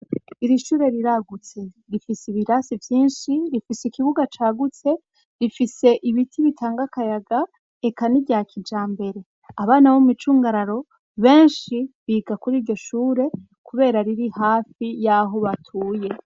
Iri shure riragutse rifise ibirasi vyinshi rifise ikibuga cagutse rifise ibiti bitanga kayaga eka nirya kijambere abana bo mu micungararo benshi biga kuri iryo shure kubera riri hafi y'aho batuye.